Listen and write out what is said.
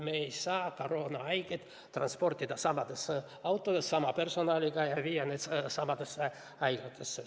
Me ei saa koroonahaigeid transportida sadades autodes sama personaliga ja viia nad sadadesse haiglatesse.